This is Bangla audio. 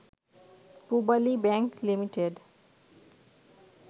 পূবালী ব্যাংক লি